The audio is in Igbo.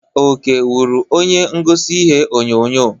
Oke wụrụ onye ngosi ihe onyonyo.